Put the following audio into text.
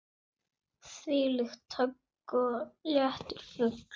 Þvílíkt högg og léttur fugl.